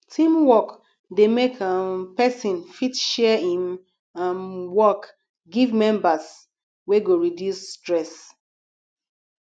teamwork de make um persin fit share im um work give members wey go reduce stress